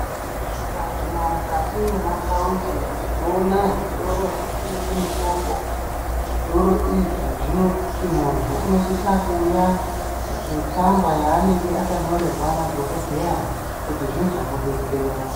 Tikaguma mukati mwemataundi tinoona zvitoro zvinotengesa mitombo zvitoro izvi zvinoti munthu unosisa kuuya ngetsamba yaanenge akanyorerwa nadokodheya kuti zvizomudetsera.